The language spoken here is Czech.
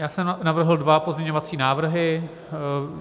Já jsem navrhl dva pozměňovací návrhy.